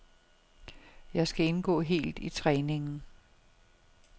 Jeg skal indgå helt i træningen.